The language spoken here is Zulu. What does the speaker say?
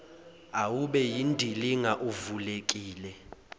awube yindilinga uvulekile